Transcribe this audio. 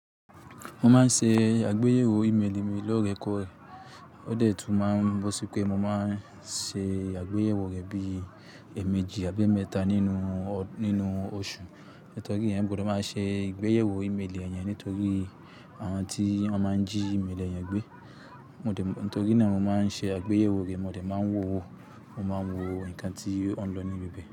Mo máa ń ṣe àgbéyẹ̀wò ímeèlì mi lóòrèkóòrè, ó dẹ̀ tún máa ń bọ́ sí pé mo máa ń ṣe àgbéyẹ̀wò rẹ̀ bí èèmejì àbí mẹ́ta nínú, nínú oṣù. Nítorí èèyàn gbọdọ máa ṣe àgbéyẹ̀wò ímeèlì èèyàn nítorí àwọn tí wọ́n máa ń jí ímeèlì èèyàn gbé. Mo dẹ̀, nítorí náà mo máa ń ṣe àgbéyẹ̀wò rẹ̀, mo dẹ̀ máa ń wo wó, mo máa ń wo nǹkan tí oun ń lọ ní bi bẹ̀